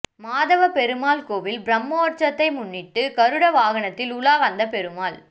மாதவபெருமாள் கோயில் பிரம்மோற்சவத்தை முன்னிட்டு கருட வாகனத்தில் உலா வந்த பெருமாள்